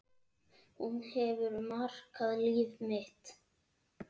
Hún hefur markað líf mitt.